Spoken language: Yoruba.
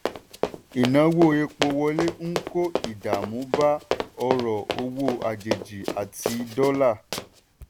ìnáwó epo wọlé ń kó ìdààmú bá ọrọ̀ owó àjèjì àti dọ́là.